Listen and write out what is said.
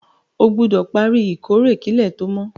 O gbúdò pari ìkórè kílẹ̀ to mo